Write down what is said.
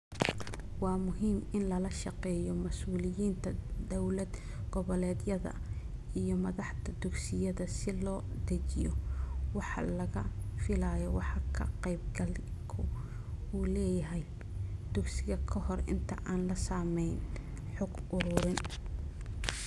Waa muhiim in lala shaqeeyo masuuliyiinta dawlad-goboleedyada iyo madaxda dugsiyada si loo dejiyo waxa laga filayo waxa ka-qaybgalku u leeyahay dugsiga ka hor inta aan la samayn xog ururin.